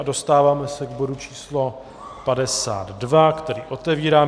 A dostáváme se k bodu číslo 52, který otevírám.